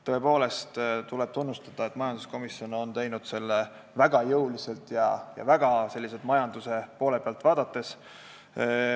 Tõepoolest, tuleb tunnustada, et majanduskomisjon on teinud oma otsuse väga jõuliselt majanduse poole pealt vaadates.